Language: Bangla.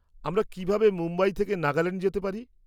আমরা কিভাবে মুম্বাই থেকে নাগাল্যান্ড যেতে পারি?